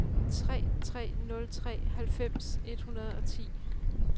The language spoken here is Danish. tre tre nul tre halvfems et hundrede og ti